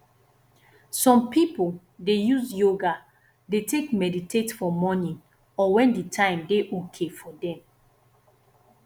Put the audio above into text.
some pipo dey use yoga dey take meditate for morning or when di time dey okay for them